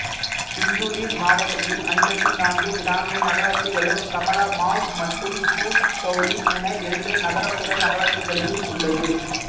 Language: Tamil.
சிந்துலி மாவட்டத்தில் ஐம்பத்தி நான்கு கிராமிய நகராட்சிகளும் கமலாமாய் மற்றும் தூத்தௌலி என இரண்டு நகரபுற நகராட்சிகளையும் உள்ளது